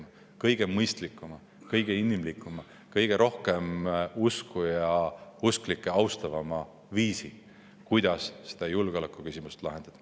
Me oleme valinud kõige mõistlikuma, kõige inimlikuma, kõige rohkem usku ja usklikke austava viisi, kuidas seda julgeolekuküsimust lahendada.